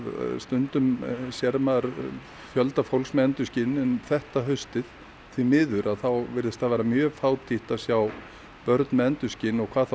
stundum sér maður fjölda fólks með endurskin en þetta haustið því miður virðist það vera mjög fátítt að sjá börn með endurskin og hvað þá